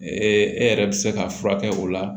e yɛrɛ bɛ se ka furakɛ o la